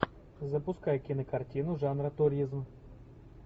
запускай кинокартину жанра туризм